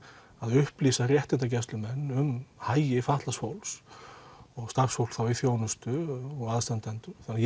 upplýsa réttindagæslumenn um hagi fatlaðs fólks og starfsfólks þá í þjónustu og aðstandendur þannig